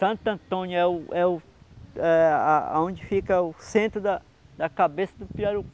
Santo Antônio é o é o é a a onde fica o centro da cabeça do Pirarucu.